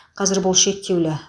қазір бұл шектеулі